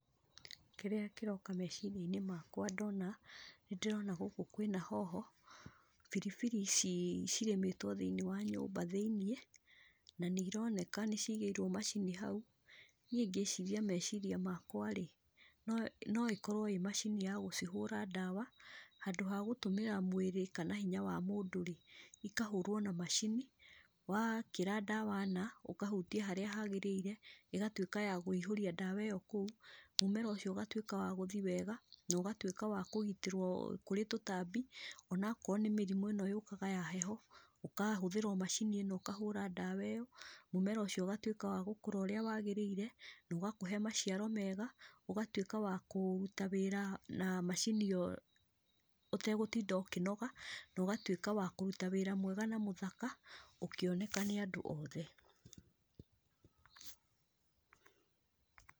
Kĩrĩa kĩroka meciria-inĩ makwa ndona, nĩndĩrona gũkũ kwĩna hoho, biribiri ici cirĩmĩtwo thĩiniĩ wa nyũmba thĩiniĩ, na nĩironeka nĩcigĩirwo macini hau, niĩ ngĩciria meciria makwa-rĩ, no no ĩkorwo ĩ macini ya gũcihũra ndawa, handũ ha gũtũmĩra mwĩrĩ kana hinya wa mũndũ-rĩ, ikahũrwo na macini, wa kĩra ndawa na, ũkahutia harĩa hagĩrĩire, ĩgatuĩka ya kũihũria ndawa ĩyo kũu, mũmera ũcio ũgatuĩka wa gũthi wega, no gatuĩka wa kĩgitĩrwo kũrĩ tũtambi, onakorwo nĩ mĩrimũ ĩno yũkaga ya heho, ũkahũthĩra macini ĩno ũkahũra ndawa ĩyo, mũmera ũcio ũgatuĩka wa gũkũra ũrĩa wagĩrĩire, no gakũhe maciaro mega, ũgatuĩka wa kũruta wĩra na macini ĩyo ũtegũtinda ũkĩnoga, no gatuĩka wa kũruta wĩra mwega na mũthaka, ũkĩoneka nĩ andũ othe.